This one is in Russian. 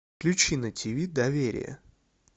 включи на тиви доверие